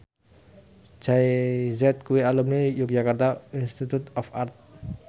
Jay Z kuwi alumni Yogyakarta Institute of Art